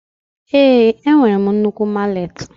Ee, enwere m nnukwu mallet.